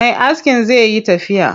Me askin zai yi tafiya.